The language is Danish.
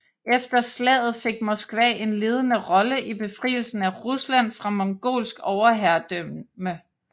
Efter slaget fik Moskva en ledende rolle i befrielsen af Rusland fra mongolsk overherredømme